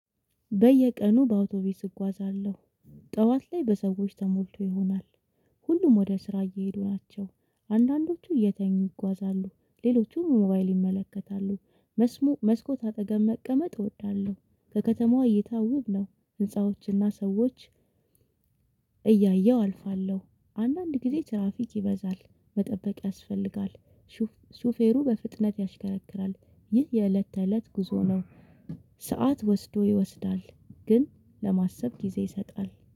በየቀኑ በአውቶቢስ እጓዛለሁ። ጠዋት ላይ በሰዎች ተሞልቶ ይሆናል። ሁሉም ወደ ስራ እየሄዱ ናቸው። አንዳንዶቹ እየተኙ ይጓዛሉ ሌሎቹም ሞባይል ይመለከታሉ። መስሙ መስኮት አጠገብ መቀመጥ እወዳለሁ። ከከተማዋ እይታ ውብ ነው። ህንፃዎችና ሰዎች እያየሁ አልፋለሁ። አንዳንድ ጊዜ ትራፊክ ይበዛል መጠበቅ ያስፈልጋል። ሹ ሹፌሩ በፍጥነት ያሽከረክራል። ይህ የእለት ተእለት ጉዞ ነው። ሰዓት ወስዶ ይወስዳል ግን ለማሰብ ጊዜ ይሰጣል